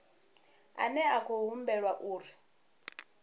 ane a khou humbulelwa uri